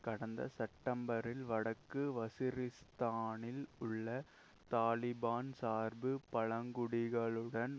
கடந்த செப்டெம்பரில் வடக்கு வஸிரிஸ்தானில் உள்ள தலிபான் சார்பு பழங்குடிகளுடன்